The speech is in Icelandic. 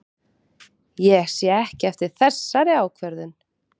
Ég sé ekki eftir þessari ákvörðun.